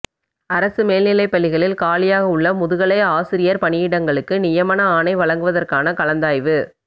அரசு மேல்நிலைப்பள்ளிகளில் காலியாக உள்ள முதுகலை ஆசிரியர் பணியிடங்களுக்கு நியமன ஆணை வழங்குவதற்கான கலந்தாய்வு